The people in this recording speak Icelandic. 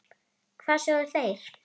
Hvað sögðu þeir?